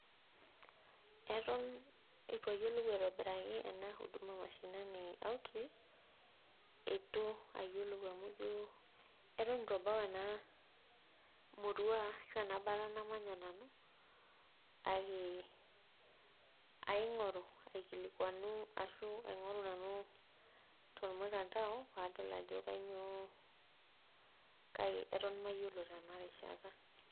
Eton etu ayiolou aitobiraki ena huduma mashinini outreach eitu ayiolou amu ijo eton etu ebau ena murua ashu ena bata namanya nanu kake aing'oru aikilikuanu ashu aing'oru nanu tormutandao paadol ajo kanyio kai eton mayiolo tena rishata.